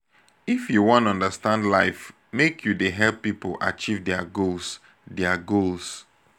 if you wan understand life make you dey help pipo achieve their goals. their goals.